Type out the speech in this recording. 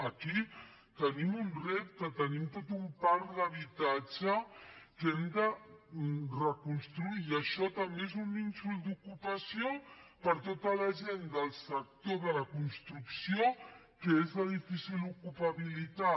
aquí tenim un repte tenim tot un parc d’habitatge que hem de reconstruir i això també és un nínxol d’ocupació per a tota la gent del sector de la construcció que és de difícil ocupabilitat